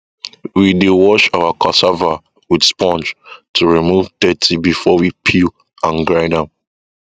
we dey wash our cassava with spong to remove dirty before we peel and grind am